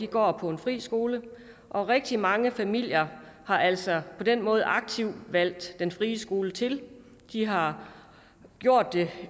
går på en fri skole og rigtig mange familier har altså på den måde aktivt valgt den frie skole til de har gjort det